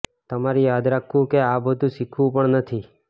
તમારે યાદ રાખવું કે આ બધું શીખવું પણ નથી